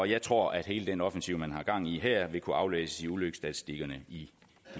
jeg tror at hele den offensiv man har gang i her vil kunne aflæses i ulykkesstatistikkerne i de